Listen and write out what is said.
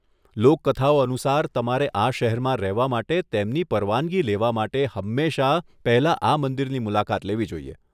લોકકથાઓ અનુસાર, તમારે આ શહેરમાં રહેવા માટે તેમની પરવાનગી લેવા માટે હંમેશા પહેલા આ મંદિરની મુલાકાત લેવી જોઈએ.